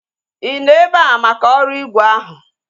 I nọ ebea maka ọrụ ígwè ahụ?